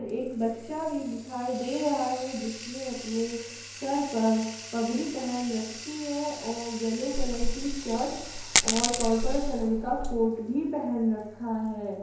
एक बच्चा भी दिखाई दे रहा है जिसने अपने सर पर पगड़ी पहन रखी है और येलो कलर की शर्ट और पर्पल कलर का कोट भी पहन रखा है।